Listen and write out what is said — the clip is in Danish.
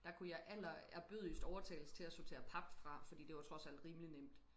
Der kunne jeg allerærbødigst overtales til at sortere pap fra fordi det var trods alt rimelig nemt